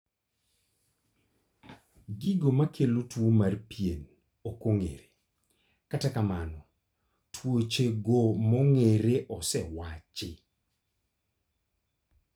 Gigo makelo tuo mar pien ok ong'ere, kata kamano tuoche go mong'ere osewachi